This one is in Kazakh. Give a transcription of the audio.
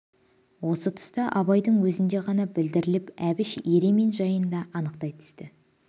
осы тұста абайдың өзіне ғана білдіріп әбіш еремин жайын да анықтай түсті